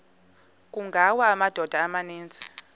kungawa amadoda amaninzi